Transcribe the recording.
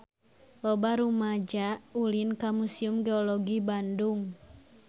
Loba rumaja ulin ka Museum Geologi Bandung